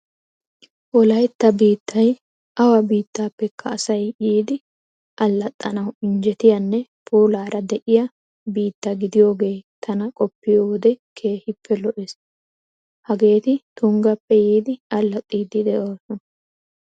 Wolaytta biittay awa biittaappekka asay yiidi allaxxanawu injjetiyanne puulaara de'iya biitta gidiyogee tana qoppiyo wode keehippe lo'ees! Hageeti tunggappe yiidi allaxxiiddi de'oosona.